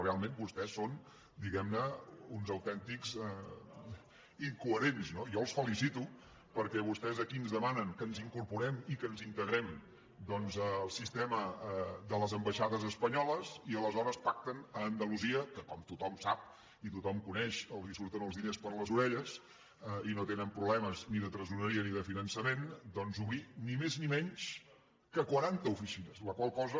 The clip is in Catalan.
realment vostès són diguem ne uns autèntics incoherents no jo els felicito perquè vostès aquí ens demanen que ens incorporem i que ens integrem al sistema de les ambaixades espanyoles i aleshores pacten a andalusia que com tothom sap i tothom coneix els surten els diners per les orelles i no tenen problemes ni de tresoreria ni de finançament doncs obrir ni més ni menys que quaranta oficines la qual cosa